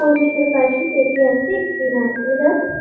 মসজিদের পাশে বেঁকিয়ে আছে একটি নারকেল গাছ।